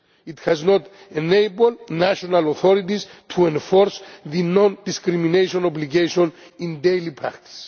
It has not enabled national authorities to enforce the non discrimination obligation in daily practice.